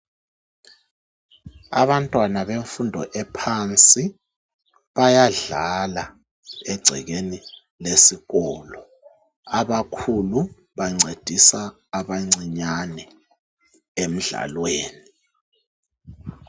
Abantwana bemfundo ephansi bayadlala egcekeni lesikolo ,abakhulu bancedisa abancinyane emdlalweni